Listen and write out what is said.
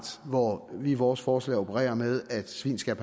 hvor vi i vores forslag opererer med at svin skal